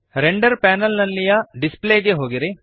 render panel ನಲ್ಲಿಯ display ಗೆ ಹೋಗಿರಿ